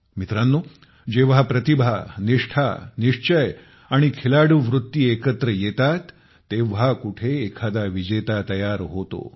मित्रांनो जेव्हा प्रतिभा निष्ठा निश्चय आणि खिलाडू वृत्ती स्पोर्ट्समन स्पिरिट एकत्र येते तेव्हा कुठे एखादा विजेता तयार होतो